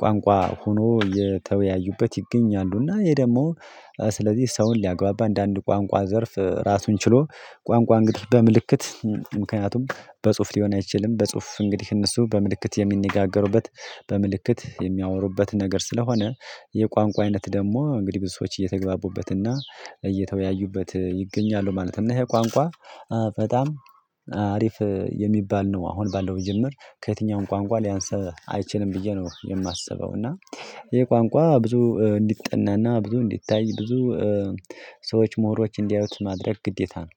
ቋንቋ ሆኖ የተወያዩበት ይገኛሉና ይሄ ደግሞ ስለዚህ ሰውን ሊያግባባ እንደአንድ ቋንቋ ዘርፍ ራሱን ችሎ ቋንቋ እንግዲህ በምልክት ምክንያቱም በጽሁፍ ሊሆን አይችልም። በጽሁፍ እንግዲህ እነሱ በምልክት የሚነጋገሩበት በምልክት የሚያወሩበት ነገር ስለሆነ የቋንቋ አይነት ደግሞ እንግዲህ ብዙ ሰዎች እየተግባቡበትና እየተወያዩበት ይገኛሉ ማለት ነው። እና ይሄ ቋንቋ በጣም አሪፍ የሚባል ነው። አሁን ባለው መጀምር ከየትኛውም ቋንቋ ሊያንስ አይችልም ብዬ ነው የማስበው። እና ይሄ ቋንቋ ብዙ እንዲጠናና ብዙ እንዲታይ ብዙ ሰዎች ምሁሮች እንዲያዩት ማድረግ ግዴታ ነው